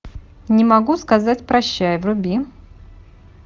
не могу сказать прощай вруби